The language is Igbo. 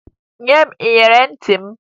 Nye m iyeri ntị m!